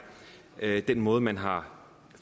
er den måde man har